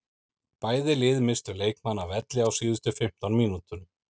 Bæði lið misstu leikmann af velli á síðustu fimmtán mínútunum.